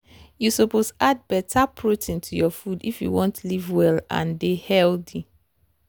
you suppose add better protein to your food if you wan live well and dey healthy.